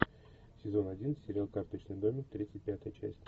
сезон один сериал карточный домик тридцать пятая часть